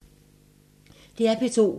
DR P2